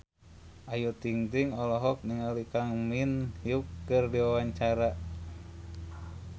Ayu Ting-ting olohok ningali Kang Min Hyuk keur diwawancara